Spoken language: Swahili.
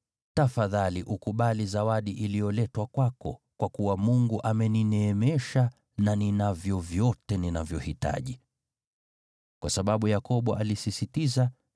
Tafadhali ukubali zawadi iliyoletwa kwako, kwa kuwa Mungu amenineemesha na ninavyo vyote ninavyohitaji.” Kwa sababu Yakobo alisisitiza, Esau akapokea.